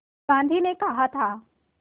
गांधी ने कहा था